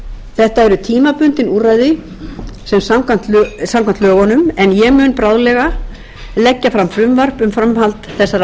þetta eru tímabundin úrræði samkvæmt lögunum en ég mun bráðlega leggja fram frumvarp um framhald þessara